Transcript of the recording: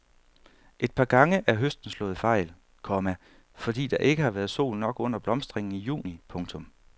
Et par gange er høsten slået fejl, komma fordi der ikke har været sol nok under blomstringen i juni. punktum